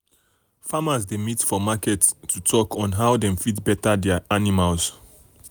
farmers dey meet for um market to market to talk um on how dem fit better their animal.